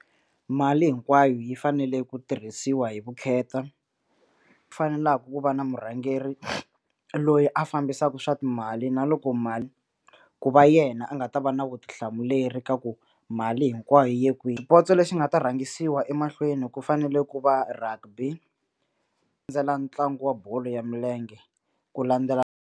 Mali hinkwayo yi fanele ku tirhisiwa hi vukheta fanelaku ku va na murhangeri loyi a fambisaku swa timali na loko mali ku va yena a nga ta va na vutihlamuleri ka ku mali hinkwayo yiye kwihi xipotso lexi nga ta rhangisiwa emahlweni ku fanele ku va rugby landzela ntlangu wa bolo ya milenge ku landzela.